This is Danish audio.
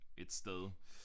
Et sted